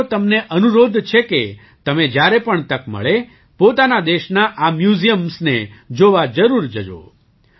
મારો તમને અનુરોધ છે કે તમે જ્યારે પણ તક મળે પોતાના દેશનાં આ MUSEUMSને જોવા જરૂર જજો